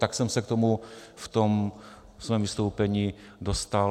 Tak jsem se k tomu v tom svém vystoupení dostal.